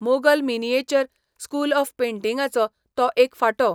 Mughal miniature school of पेंटिंगाचो तो एक फांटो.